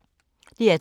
DR2